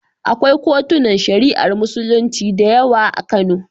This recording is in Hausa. Akwai kotunan Shari'ar Musulunci da yawa a Kano.